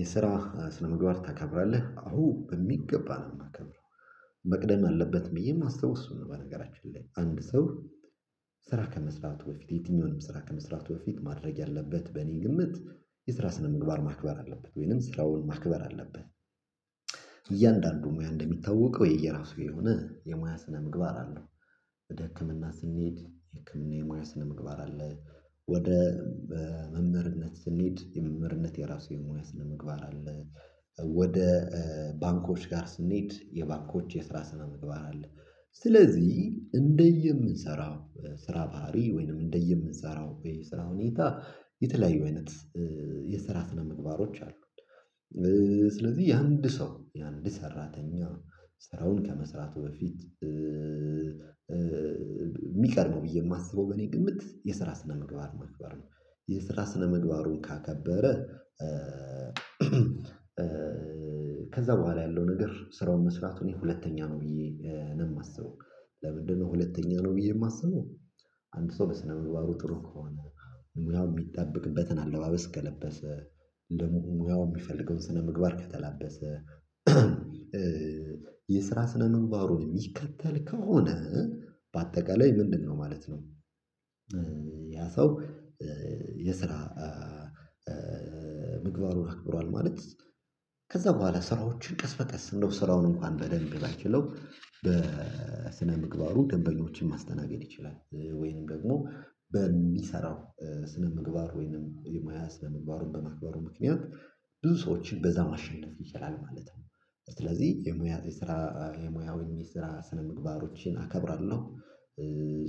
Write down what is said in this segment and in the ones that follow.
የስራ ስነምግባር ታከብራለህ አወ በሚገባ ነው የማከብረው መቅደም አለበት ብዬ የማስበው እሱን ነው በነገራችን ላይ አንድ ሰው ስራ ከመስራቱ በፊት የትኛውንም ስራ ከመስራቱ በፊት ማድረግ ያለበት በእኔ ግምት የስራ ስነምግባር ማክበር አለበት ወይንም ስራውን ማክበር አለብን እያንዳንዱ ሙያ እንደሚታወቀው የየራሱ የሆነ የሙያ ስነ ምግባር አለው ወደ ህክምና ስንሄድ የህክምና የሙያ ስነምግባር አለ ወደ መምህርነት ስንሄድ የመምህርነት የራሱ የሙያ ምግባር አለ ወደ ባንኮች ጋር ስንሄድ የባንኮች የስራ ስነ ምግባር አለ ስለዚህ እንደየምንሰራው ስራ ባህሪ ወይንም እንደየምንሰራው የስራ ሁኔታ የተለያዩ አይነት የስራ ስነምግባሮች አሉ። ስለዚህ የአንድ ሰው የአንድ ሰራተኛ ስራውን ከመስራቱ በፊት የሚቀርበው ብዬ የማስበው በኔ ግምት የስራ ስነምግባር ማክባር ነው የስራ ስነምግባሩን ካከበረ ከዛ በኋላ ያለው ነገር ስራውን መስራት እኔ ሁለተኛ ነው ብዬ ነው የማስበው ለምንድነው ሁለተኛ ነው ብዬ የማስበው አንድ ሰው በስነ ምግባሩ ጥሩ ከሆነ ሙያው የሚጠበቅበትን አለባበስ ከለበሰ ሙያው የሚፈልገውን ስነምግባር ከተላበሰ የስራ ስነ ምንባሩን የሚከተል ከሆነ በአጠቃላይ ምንድነው ማለት ነው ያ ሰው የስራ ምግባሩን አክብሯል ማለት ከዛ በኋላ ስራዎችን ቀስ በቀስ እንደው ስራውን እንኳን በደንብ ባይችለው በስነ ምግባሩ ደንበኞችን ማስተናገድ ይችላል ወይንም ደግሞ በሚሰራው ስነ ምግባር ወይንም የሙያ ስነ ምግባሩን በማክበሩ ምክንያት ብዙ ሰዎችን በዛ ማሸነፍ ይችላል ማለት ነው ስለዚህ የሙያ የስራ የሙያውን የስራ ስነምግባሮችን አከብራለሁ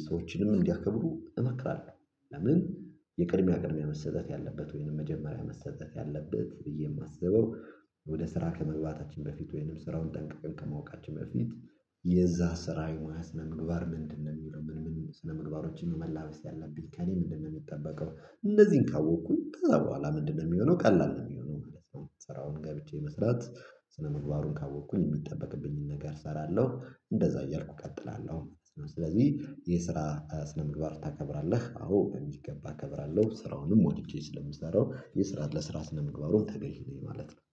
ሰዎችንም እንዲያከብሩ እመክራለሁ ለምን የቅድሚያ ቅድሚያ መሰጠት ያለበት ወይንም መጀመሪያ መሰጠት ያለበት ብዬ የማስበው ወደ ስራ ከመግባታችን በፊት ወይንም ስራውን ጠንቅቀን ከማወቃችን በፊት የዛ ስራ የሙያ ስነ ምግባር ምንድነው ሚለውን ስነ ምግባሮችን ነው መላበስ ያለብኝ ከእኔ ምንድነው የሚጠበቀው እንነዚህን ካወቅኩኝ ከዛ በኋላ ምንድነው የሚሆነው ቀላል ነው የሚሆነው ማለት ነው ስራውን ገብቼ መስራት ስነምግባሩን ካወቅኩኝ የሚጠበቅብኝን ነገር እሰራለሁ እንደዛ እያልኩ እቀጥላለሁ ስለዚህ የስራ ስነ ምግባር ታከብራለህ አዎ በሚገባ እከብራለሁ ስራውንም ወድጄ ስለምሰራው የስራ ለስራ ስነ ምግባሩን ተገዥ ነኝ ማለት ነው